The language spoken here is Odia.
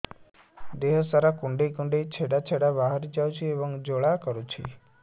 ଦେହ ସାରା କୁଣ୍ଡେଇ କୁଣ୍ଡେଇ ଛେଡ଼ା ଛେଡ଼ା ବାହାରି ଯାଉଛି ଏବଂ ଜ୍ୱାଳା କରୁଛି